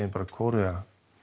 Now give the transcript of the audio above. bara um Kóreu